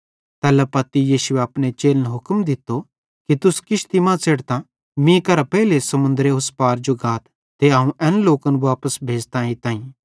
तैल्ला पत्ती यीशुए अपने चेलन हुक्म दित्तो कि तुस किश्ती मां च़ेढ़तां मीं केरां पेइले समुन्दरेरे उस पार जो गाथ ते अवं एन लोकन वापस भेज़तां एइताईं